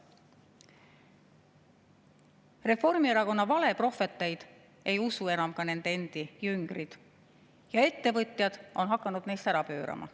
Reformierakonna valeprohveteid ei usu enam isegi nende endi jüngrid ja ettevõtjad on hakanud neist ära pöörama.